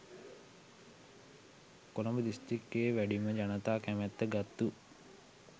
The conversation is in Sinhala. කොළඹ දිස්ත්‍රික්කයේ වැඩිම ජනතා කැමැත්ත ගත්තු